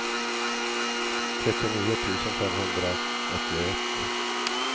trettionio tusen femhundraåttioett